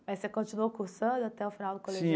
Aí você continuou cursando até o final do colegial?